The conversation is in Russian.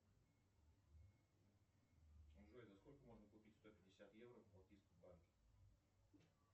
джой за сколько можно купить сто пятьдесят евро в балтийском банке